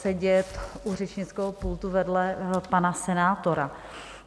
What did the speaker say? ... sedět u řečnického pultu vedle pana senátora.